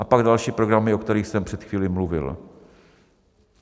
A pak další programy, o kterých jsem před chvíli mluvil.